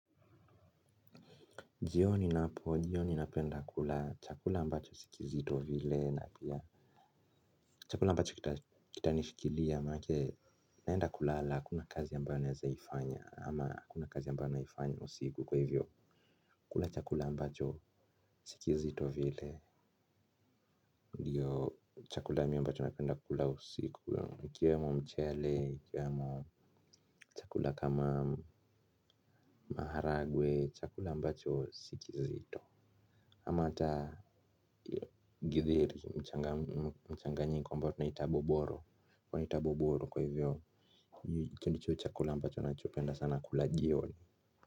Jioni napo, jioni napenda kula chakula ambacho si kizito vile na pia chakula ambacho kita ni shikilia, manake naenda kulala, hakuna kazi ambayo naeza ifanya ama hakuna kazi ambayo naifanya usiku kwa hivyo kula chakula ambacho si kizito vile. Ndiyo chakula mi ambacho napenda kula usiku, ikiwemo mchele, ikiwemo chakula kama maharagwe, chakula ambacho si kizito. Ama ata githeri mchanganyiko ambao tunaita boboro tunaita boboro kwa hivyo hicho ndicho chakula ambacho nachopenda sana kula jioni.